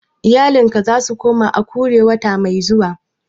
Iyalinka za su koma Akure wata mai zuwa?